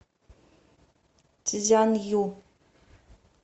цзянъю